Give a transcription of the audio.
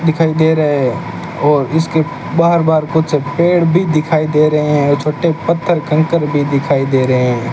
दिखाई दे रहे है और इसके बाहर बाहर कुछ पेड़ भी दिखाई दे रहे है छोटे पत्थर कंकड़ भी दिखाई दे रहे --